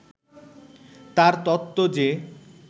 তার তত্ত্ব যে